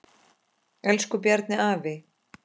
Elsku Bjarni afi.